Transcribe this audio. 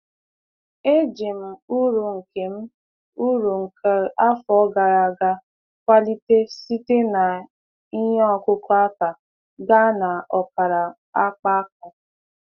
Eji m uru nke m uru nke afọ gara aga kwalite site na ihe ọkụkụ aka gaa na ọkara akpaaka.